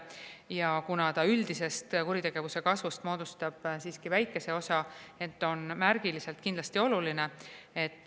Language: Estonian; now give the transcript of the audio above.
See moodustab üldisest kuritegevuse kasvust siiski väikese osa, ent on märgiliselt kindlasti oluline.